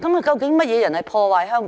究竟甚麼人破壞香港？